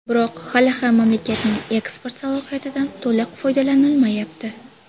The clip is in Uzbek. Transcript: Biroq, hali ham mamlakatning eksport salohiyatidan to‘liq foydalanilmayapti.